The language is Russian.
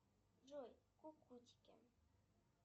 джой кукутики